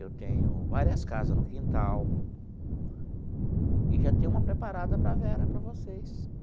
Eu tenho várias casas no quintal e já tenho uma preparada para a Vera, para vocês.